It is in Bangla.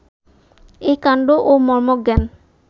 এই কাণ্ড ও মর্মজ্ঞান